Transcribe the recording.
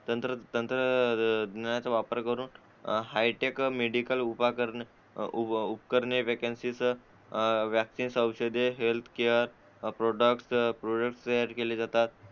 तंत्र तंत्रज्ञानाचा वापर करून हायटेक मेडिकल उपकरणे वेकन्सी चा वॅक्सिंग औषधे हेल्थ केअर प्रॉडक्ट तयार केले जातात